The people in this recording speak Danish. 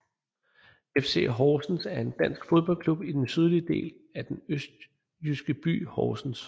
FC Horsens er en dansk fodboldklub i den sydlige del af den østjyske by Horsens